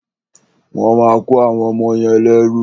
Wọ́n máa kọ́ àwọn ọmọ yẹn lẹ́rú.